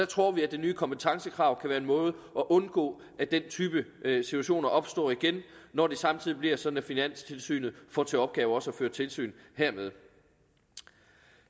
tror vi at det nye kompetencekrav kan være en måde at undgå at den type situationer opstår igen når det samtidig bliver sådan at finanstilsynet får til opgave også at føre tilsyn med